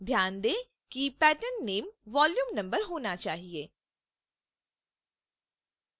ध्यान दें कि pattern name volume number होना चाहिए